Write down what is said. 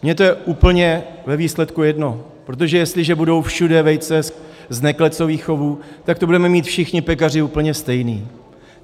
Mně to je úplně ve výsledku jedno, protože jestliže budou všude vejce z neklecových chovů, tak to budeme mít všichni pekaři úplně stejné.